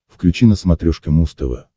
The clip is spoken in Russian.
включи на смотрешке муз тв